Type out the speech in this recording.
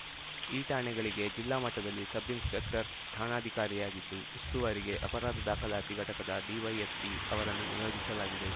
ಈ ಠಾಣೆಗಳಿಗೆ ಜಿಲ್ಲಾ ಮಟ್ಟದಲ್ಲಿ ಸಬ್‌ ಇನ್ಸ್‌ಪೆಕ್ಟರ್‌ ಠಾಣಾಧಿಕಾರಿಯಾಗಿದ್ದು ಉಸ್ತುವಾರಿಗೆ ಅಪರಾಧ ದಾಖಲಾತಿ ಘಟಕದ ಡಿವೈಎಸ್ಪಿ ಅವರನ್ನು ನಿಯೋಜಿಸಲಾಗಿದೆ